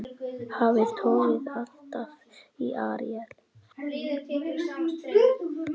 Hafið togaði alltaf í Aríel.